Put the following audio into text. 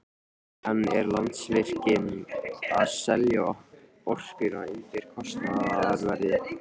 En er Landsvirkjun að selja orkuna undir kostnaðarverði?